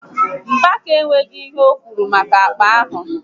Mgbeke enwéghị ihe okwuru maka akpa ahụ